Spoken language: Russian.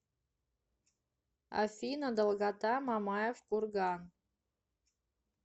афина долгота мамаев курган